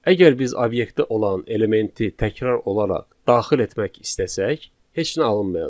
Əgər biz obyektdə olan elementi təkrar olaraq daxil etmək istəsək, heç nə alınmayacaq.